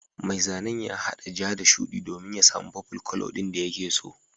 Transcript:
Mai zanen ya haɗa ja da shudi domin ya samu purple colour din da yake so.